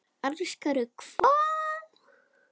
Elskar þú hvað?